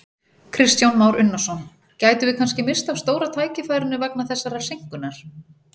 Kristján Már Unnarsson: Gætum við kannski misst af stóra tækifærinu vegna þessarar seinkunar?